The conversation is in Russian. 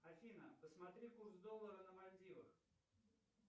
афина посмотри курс доллара на мальдивах